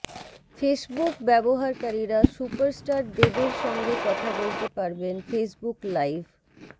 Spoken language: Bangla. ফেসবুক ব্যবহারকারীরা সুপারস্টার দেবের সঙ্গে কথা বলতে পারবেন ফেসবুক লাইভ